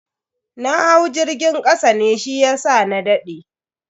Na hau jirgin kasa ne shiyasa na dade.